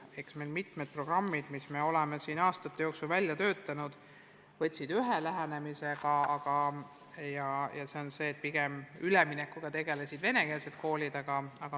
Eks mitmed programmid, mis me oleme aastate jooksul välja töötanud, lähtusid pigem sellest, et üleminekuga tegelesid vene koolid.